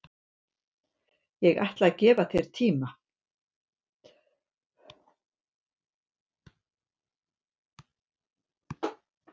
Ég ætla að gefa mér tíma